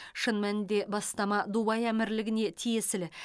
шын мәнінде бастама дубай әмірлігіне тиесілі